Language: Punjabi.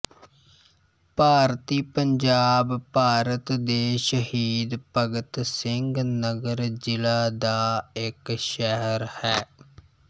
ਭਾਰਤੀ ਪੰਜਾਬ ਭਾਰਤ ਦੇ ਸ਼ਹੀਦ ਭਗਤ ਸਿੰਘ ਨਗਰ ਜ਼ਿਲ੍ਹਾ ਦਾ ਇੱਕ ਸ਼ਹਿਰ ਹੈ